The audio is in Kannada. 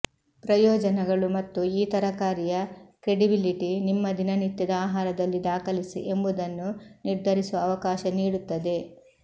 ಪ್ರಯೋಜನಗಳು ಮತ್ತು ಈ ತರಕಾರಿಯ ಕ್ರೆಡಿಬಿಲಿಟಿ ನಿಮ್ಮ ದಿನನಿತ್ಯದ ಆಹಾರದಲ್ಲಿ ದಾಖಲಿಸಿ ಎಂಬುದನ್ನು ನಿರ್ಧರಿಸುವ ಅವಕಾಶ ನೀಡುತ್ತದೆ